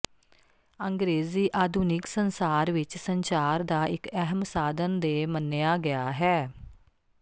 ਅੰਗਰੇਜ਼ੀ ਆਧੁਨਿਕ ਸੰਸਾਰ ਵਿੱਚ ਸੰਚਾਰ ਦਾ ਇੱਕ ਅਹਿਮ ਸਾਧਨ ਦੇ ਮੰਨਿਆ ਗਿਆ ਹੈ